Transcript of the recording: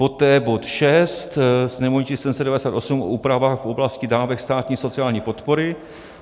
poté bod 6, sněmovní tisk 798, o úpravách v oblasti dávek státní sociální podpory;